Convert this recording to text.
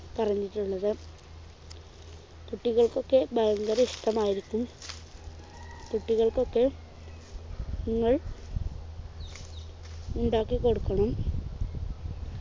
പറഞ്ഞിട്ടുള്ളത് കുട്ടികൾക്കൊക്കെ ഭയങ്കര ഇഷ്ടമായിരിക്കും കുട്ടികൾക്കൊക്കെ നിങ്ങൾ ഉണ്ടാക്കികൊടുക്കണം